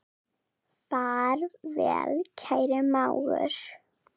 Far vel, kæri mágur.